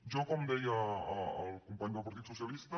jo com deia el company del partit socialista